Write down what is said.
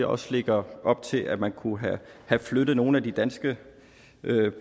også lægger op til at man kunne have flyttet nogle af de danske